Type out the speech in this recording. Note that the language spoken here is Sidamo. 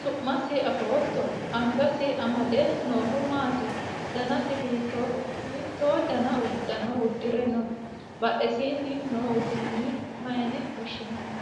su'masi afootto? angasi amade noohu maati? danasi hiittoho? hiitto dani uddano uddi're nooho? badhesiinni noo uduunni mayyiine woshhsi'nanniho?